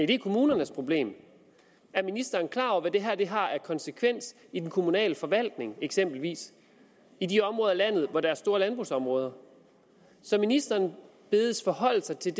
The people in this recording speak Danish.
det er kommunernes problem er ministeren klar over hvad det her har af konsekvens i den kommunale forvaltning eksempelvis i de områder af landet hvor der er store landbrugsområder ministeren bedes forholde sig til